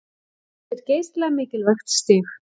Þetta er geysilega mikilvægt stig